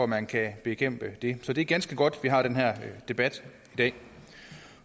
man kan bekæmpe det så det er ganske godt at vi har den her debat i dag